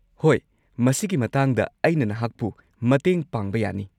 ꯍꯣꯏ, ꯃꯁꯤꯒꯤ ꯃꯇꯥꯡꯗ ꯑꯩꯅ ꯅꯍꯥꯛꯄꯨ ꯃꯇꯦꯡ ꯄꯥꯡꯕ ꯌꯥꯅꯤ꯫